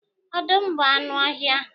Ọdụm bụ anụ ọhịa.